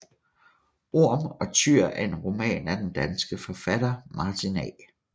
Orm og Tyr er en roman af den danske forfatter Martin A